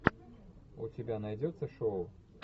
у тебя найдется шоу